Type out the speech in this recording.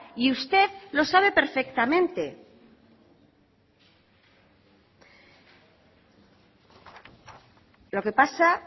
y usted lo sabe perfectamente lo que pasa